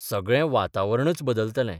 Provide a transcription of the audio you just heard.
सगळे वातावरणच बदलतलें.